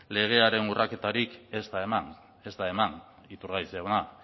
legearen urraketarik ez da eman ez da eman iturgaiz jauna